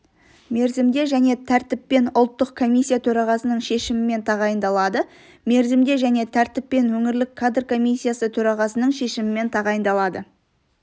мерзімде және тәртіппен ұлттық комиссия төрағасының шешімімен тағайындалады мерзімде және тәртіппен өңірлік кадр комиссиясы төрағасының шешімімен тағайындалады